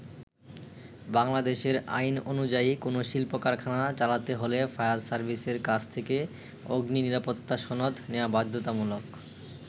বাংলাদেশের আইন অনুযায়ী কোন শিল্প-কারখানা চালাতে হলে ফায়ার সার্ভিসের কাছ থেকে অগ্নি নিরাপত্তা সনদ নেয়া বাধ্যতামূলক।